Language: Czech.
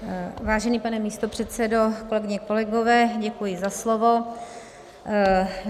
Vážený pane místopředsedo, kolegyně, kolegové, děkuji za slovo.